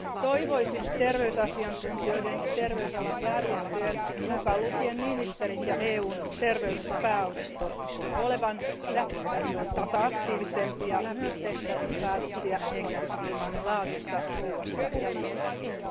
Toivoisin terveysasiantuntijoiden ja terveysalan järjestöjen, mukaan lukien ministerit ja EUn terveyspääosasto, olevan aikaisempaa aktiivisempia myös tehtäessä päätöksiä hengitysilmamme laadusta, ruoasta ja liikenteestä.